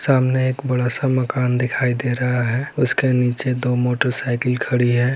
सामने एक बड़ा सा मकान दिखाई दे रहा है उसके नीचे मोटरसाइकिल खड़ी है|